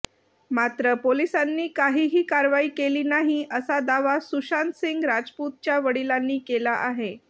मात्र पोलिसांनी काहीही कारवाई केली नाही असा दावा सुशांत सिंह राजपूतच्या वडिलांनी केला आहे